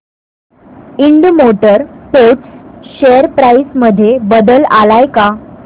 Ind motor parts share price मध्ये बदल आलाय का